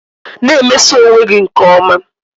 Na-emeso onwe gị nke ọma